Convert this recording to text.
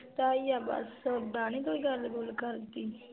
ਤਾ ਈ ਆ ਬਸ ਉਦਾਂ ਨੀ ਕੋਈ ਗੱਲ-ਗੁਲ ਕਰਦੀ